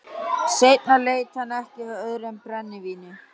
Seinna leit hann ekki við öðru en brennivíni.